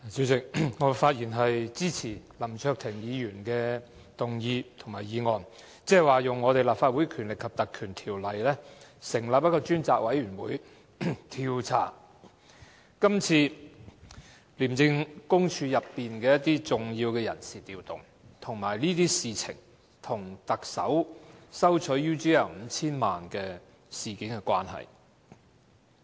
主席，我發言支持林卓廷議員的議案，要求引用《立法會條例》成立專責委員會，調查今次廉政公署內的重要人事調動，以及這些事情跟特首收取 UGL Limited 近 5,000 萬元事件的關係。